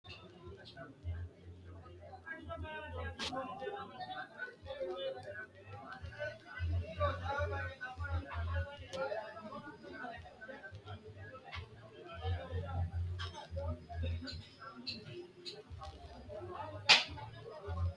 Mine sabba gane biifinse loonse diilalo eano gede hende ikko biinfileho hende ikko seekkine loonsonihu waalchu iimani qole woronihu lowo geeshsha fano ikke no.